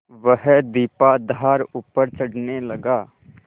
वह दीपाधार ऊपर चढ़ने लगा